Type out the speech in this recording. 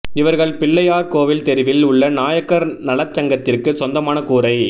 இவர்கள் பிள்ளையார் கோவில் தெருவில் உள்ள நாயக்கர் நலசங்கத்திற்கு சொந்தமான கூரை